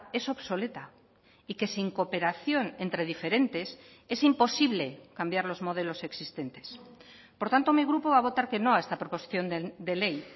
es obsoleta y que sin cooperación entre diferentes es imposible cambiar los modelos existentes por tanto mi grupo va a votar que no a esta proposición de ley